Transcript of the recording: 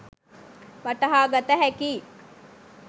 වටහාගත හැකියි.